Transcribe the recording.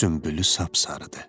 Sünbülü sapsarıdır.